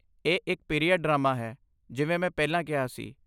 ਇਹ ਇੱਕ period drama ਹੈ, ਜਿਵੇਂ ਮੈਂ ਪਹਿਲਾਂ ਕਿਹਾ ਸੀ।